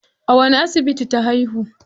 A wani asibiti ta haihu?